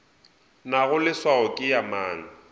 nago leswao ke ya mang